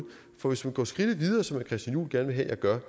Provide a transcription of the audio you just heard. for hvis man går skridtet videre som herre christian juhl gerne vil have jeg gør